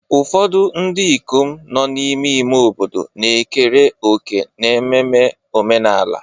Ụfọdụ ndị ikom nọ n'ime ime obodo na-ekere òkè n'ememme omenala.